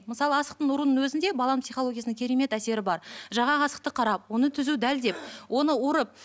мысалы асықтың ұрудың өзінде баланың психологиясына керемет әсері бар жаңағы асықты қарап оны түзу дәлдеп оны ұрып